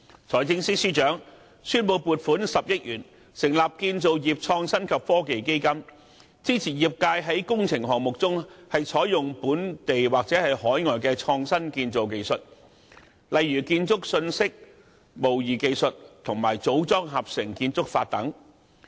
財政司司長宣布撥款10億元成立建造業創新及科技基金，支持業界在工程項目中採用本地或海外的創新建造技術，例如建築信息模擬技術和組裝合成建築法。